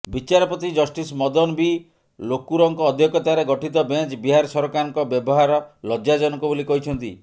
ବିଚାରପତି justice Madan B ଲୋକୁରଙ୍କ ଅଧ୍ୟକ୍ଷତାରେ ଗଠିତ ବେଞ୍ଚ ବିହାର ସରକାରଙ୍କ ବ୍ୟବହାର ଲଜ୍ଜାଜନକ ବୋଲି କହିଛନ୍ତି